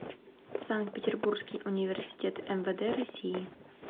санкт петербургский университет мвд россии